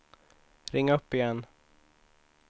ring upp igen